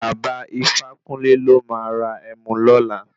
Baba Ifákúnle ló máa ra Ẹmu lọla.